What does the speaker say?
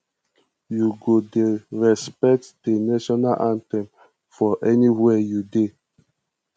you go dey respect di national anthem for anywhere you dey